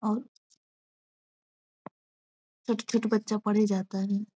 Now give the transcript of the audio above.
और छोटा-छोटा बच्चा पढ़े जाता है।